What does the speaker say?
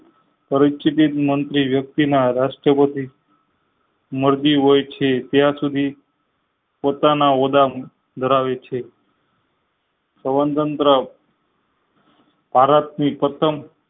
પરિસ્થિતિ મંત્રી વ્યક્તિ ના રાષ્ટ્રપતિ મરજી હોય છે ત્યાં સુધી પોતાના હોદ્દા ધરાવે છે સૌતંત્ર ભારત ની પ્રથમ